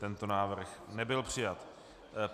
Tento návrh nebyl přijat.